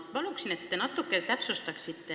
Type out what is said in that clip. Ma palun, et te natuke täpsustaksite.